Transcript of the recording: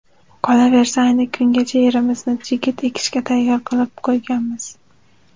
Qolaversa, ayni kungacha yerimizni chigit ekishga tayyor qilib qo‘yganmiz.